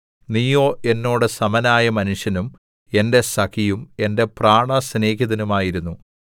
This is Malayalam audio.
നീയോ എന്നോട് സമനായ മനുഷ്യനും എന്റെ സഖിയും എന്റെ പ്രാണസ്നേഹിതനുമായിരുന്നു